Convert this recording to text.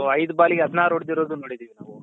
ಅವ್ರು ಐದು ball ಗೆ ಹದಿನಾರು ಹೊಡ್ಡಿರೋದು ನೋಡಿದಿವಿ ನಾವು